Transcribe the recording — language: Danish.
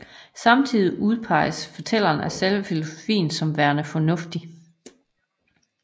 Samtidigt udpeges fortælleren af selve filosofien som værende fornuftig